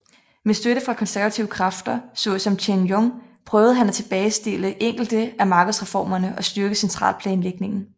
Med støtte fra konservative kræfter så som Chen Yun prøvede han at tilbagestille enkelte af markedsreformerne og styrke centralplanlægningen